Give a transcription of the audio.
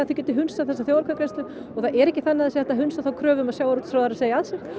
hundsa þessa þjóðaratkvæðagreiðslu og það er ekki þannig að sé hægt að hundsa þá kröfu að sjávarútvegsráðherra segi af sér